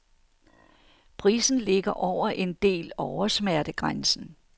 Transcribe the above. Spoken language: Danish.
Prisen ligger over en del oversmertegrænsen.